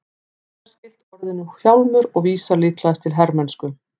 Það er skylt orðinu hjálmur og vísar líklegast til hermennsku.